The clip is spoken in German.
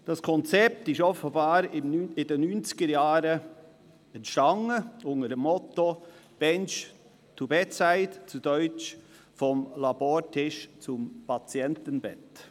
Das Konzept entstand offenbar in den 1990er-Jahren, unter dem Motto «bench to bedside» – zu Deutsch: vom Labortisch zum Patientenbett.